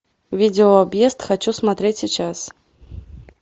видео объезд хочу смотреть сейчас